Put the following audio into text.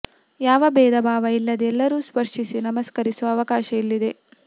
ಯಾವ ಬೇಧ ಭಾವ ಇಲ್ಲದೆ ಎಲ್ಲರೂ ಸ್ಪರ್ಶಿಸಿ ನಮಸ್ಕರಿಸುವ ಅವಕಾಶ ಇಲ್ಲಿದೆ